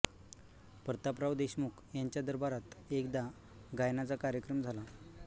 प्रतापराव देशमुख यांच्या दरबारात एकदा गायनाचा कार्यक्रम झाला